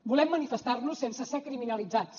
volem manifestar nos sense ser criminalitzats